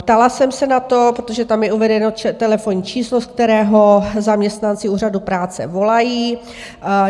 Ptala jsem se na to, protože tam je uvedeno telefonní číslo, z kterého zaměstnanci Úřadu práce volají.